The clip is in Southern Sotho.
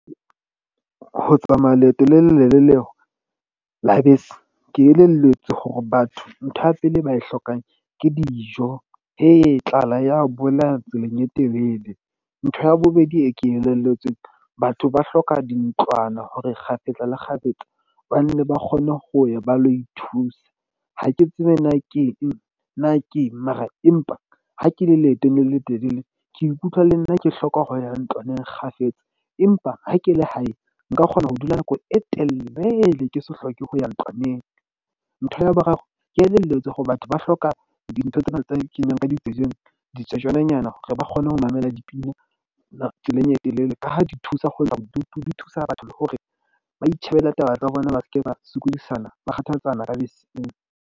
Ho tsamaya leeto le le lelele la bese. Ke elelletswe hore batho ntho ya pele e ba e hlokang ke dijo. Eya tlala ya bolaya tseleng e telele. Ntho ya bobedi e ke elelletsweng. Batho ba hloka dintlwana hore kgafetsa le kgafetsa ba nne ba kgone ho ya ba lo ithusa. Ha ke tsebe na keng na keng. Mara empa ha ke le leetong le letelele ke ikutlwa le nna ke hloka ho ya ntlwaneng kgafetsa, empa ha ke le hae, nka kgona ho dula nako e telele, ke se hloke ho ya ntlwaneng ntho ya boraro. Ke elelletswe hore batho ba hloka dintho tsena tse kenywang ka ditsebeng hore ba kgone ho mamela dipina tseleng e telele ka ha di thusa ho ntsha bodutu. Di thusa batho hore ba itjhebelle taba tsa bona, ba seke ba sokodisana ba kgathatsana ka beseng.